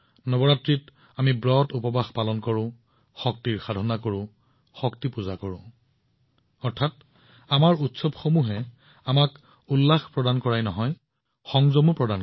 নৱৰাত্ৰিত আমি ব্ৰতউপবাস ৰাখো শক্তিৰ উপাসনা কৰোঁ অৰ্থাৎ আমাৰ পৰম্পৰাই আমাক আনন্দ আৰু সংযম শিকায়